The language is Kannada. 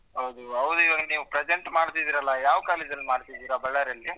ಹೌದು ಹೌದು ನೀವ್ ಇವಾಗ present ಮಾಡ್ತಿದಿರಾ ಅಲ್ಲಾ ಯಾವ್ college ಅಲ್ಲಿ ಮಾಡ್ತಿದಿರಾ Ballari ಅಲ್ಲಿ?